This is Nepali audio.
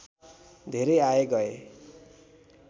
धेरै आए गए